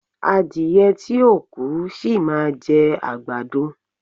Adíyẹ́ tí o kú, ṣí má jẹ agbàdọ